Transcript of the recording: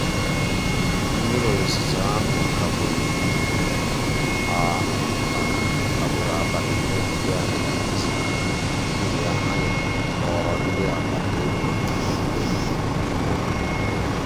mmírí òzùzó ahụ́ kagbùrù ahụ́ kagbùrù àbálị́ ihe nkírí ànyị́ dị́ n'èzí n'ihí ya ànyị́ kpọ̀rọ́ ndí àgbàtà òbì maka ègwùrègwù ímé ụ́lọ́.